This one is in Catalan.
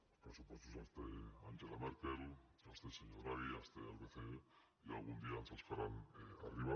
els pressupostos els té angela merkel els té el senyor draghi els té el bce i algun dia ens els faran arribar